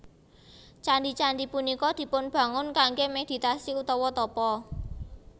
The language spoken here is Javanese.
Candhi candhi punika dipun bangun kanggè meditasi utawa tapa